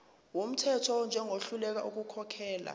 wumthetho njengohluleka ukukhokhela